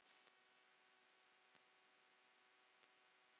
Við snerum við í bæinn.